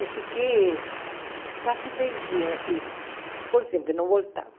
Eu fiquei quase dez dias assim, inconsciente, não voltava.